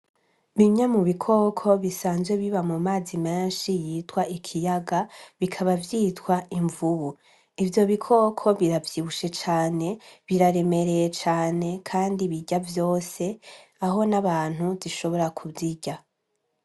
Bimwe mu bikoko bisanzwe biba mu mazi menshi yitwa ikiyaga bikaba vyitwa imvubu ivyo bikoko biravyibushe cane biraremereye cane, kandi birya vyose aho n'abantu zishobora kuzirya.